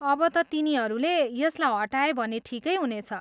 अब त तिनीहरूले यसलाई हटाए भने ठिकै हुनेछ।